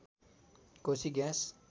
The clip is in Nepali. कोसी ग्याँस